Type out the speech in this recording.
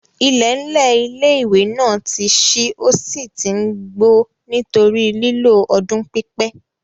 IIẹ̀nlẹ̀ ilé-ìwé náà ti n ṣí ó sì tí n gbó nítorí lílò ọdún pípẹ́